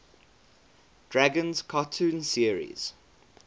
dragons cartoon series